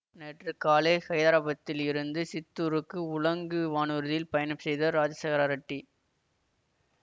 நேற்று காலை ஹைதராபாத்தில் இருந்து சித்தூருக்கு உலங்கு வானூர்தியில் பயணம் செய்தார் ராஜசேகரா ரெட்டி